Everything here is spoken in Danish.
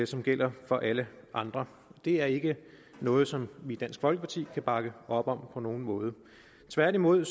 som gælder for alle andre det er ikke noget som vi i dansk folkeparti kan bakke op om på nogen måde tværtimod